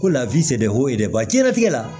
Ko lafiɲɛnfoyi dɛba jɛnatigɛ la